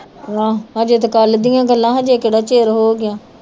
ਆਹ ਹਜੇ ਤੇ ਕੱਲ ਦੀਆ ਗੱਲਾਂ ਹਜੇ ਕੇਹੜਾ ਚਿਰ ਹੋਗਿਆ